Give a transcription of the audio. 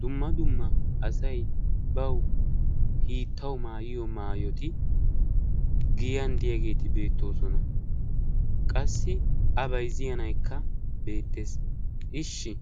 dumma dumma asai bawu hiittawu maayiyo maayoti giyan deyaageeti beettoosona. qassi a baizziyanaikka beettees. ishshi